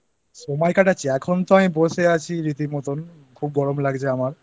সময় কাটাচ্ছি? এখন তো আমি বসে আছি রীতিমতো খুব গরম